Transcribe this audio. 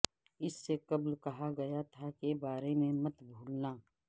اس سے قبل کہا گیا تھا کے بارے میں مت بھولنا